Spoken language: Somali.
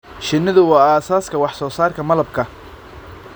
Shinnidu waa aasaaska wax-soo-saarka malabka.